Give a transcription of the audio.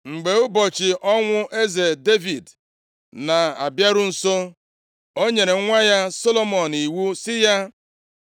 Mgbe ụbọchị ọnwụ eze Devid na-abịaru nso, o nyere nwa ya Solomọn iwu sị ya,